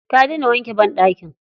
Ta daina wanke banɗaki.